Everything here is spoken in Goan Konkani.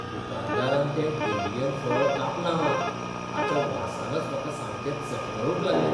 दुकानदारान तें ड्युरीयन फळ कापलां मात, ताच्या वासानच म्हाका सामकें चकनळूंक लागलें.